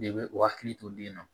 De bɛ u hakili to den na